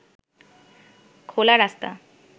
খোলা রাস্তা